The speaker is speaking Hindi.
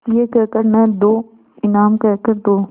यह कह कर न दो इनाम कह कर दो